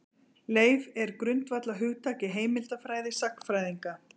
Leif er grundvallarhugtak í heimildafræði sagnfræðinga.